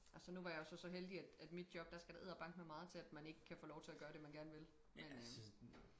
Altså nu var jeg jo så så heldig at at mit job der skal der edderbankemig meget til at man ikke kan få lov til at gøre det man gerne vil men